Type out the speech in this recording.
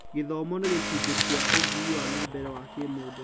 Gũthoma nĩ gĩcunjĩ kĩa ũthii wa na mbere wa kĩmũndũ.